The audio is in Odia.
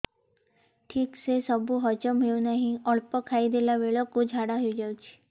ଠିକସେ ସବୁ ହଜମ ହଉନାହିଁ ଅଳ୍ପ ଖାଇ ଦେଲା ବେଳ କୁ ଝାଡା ହେଇଯାଉଛି